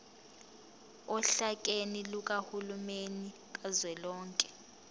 ohlakeni lukahulumeni kazwelonke